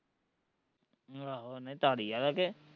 ਆਹੋ ਨਹੀਂ ਧਾਰੀਆਲ ਆ ਕਿ